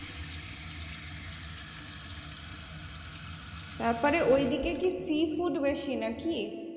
তারপরে ওইদিকে কি sea food বেশি নাকি?